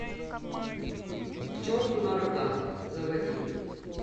к черту на рога заводи